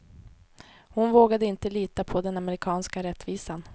Hon vågade inte lita på den amerikanska rättvisan.